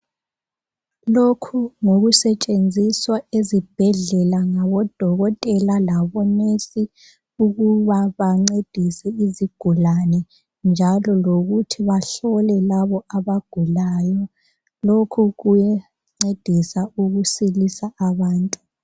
Lokhu ngokusetshenziswa ezibhedlela ngabodokotela labo nesi ukuba bancedise izigulane njalo lokuthi bahlole labi abagulayo lokhu kuyancedisa ukusilisa abantu.